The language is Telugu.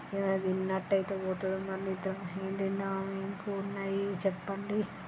ఏమైనా తిన్నటైటే బోతునం మనిద్దరం ఎం దిందం ఉన్నాయి చెప్పండి.